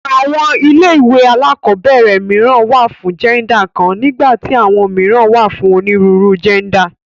Àwọn ilé ìwé alákọ̀ọ́bẹ̀rẹ̀ mìíràn wà fún jẹ́ndà kan nígbà tí àwọn mìíràn wà fún onírúurú jẹ́ndà.